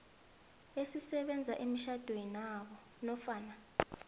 elisebenza emtjhadwenabo nofana